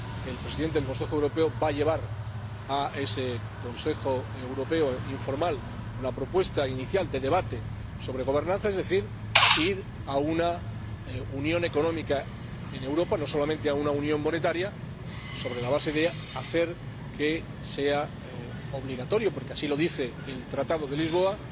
El Presidente del Consejo Europeo va a llevar a ese Consejo Europeo informal una propuesta inicial de debate sobre gobernanza, es decir, ir a una unión económica en Europa, no solamente a una unión monetaria, sobre la base de hacer que sea obligatorio —porque así lo dice el Tratado de Lisboa—